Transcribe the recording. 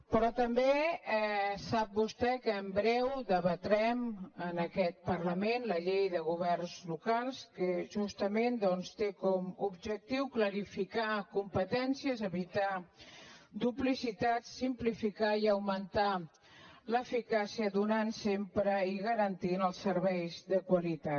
però també sap vostè que en breu debatrem en aquest parlament la llei de governs locals que justament doncs té com a objectiu clarificar competències evitar duplicitats simplificar i augmentar l’eficàcia donant sempre i garantint els serveis de qualitat